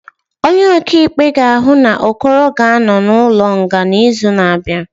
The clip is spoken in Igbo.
Onye ọkaikpe ga-ahụ na Okoro ga-anọ n'ụlọ nga n'izu na-abịa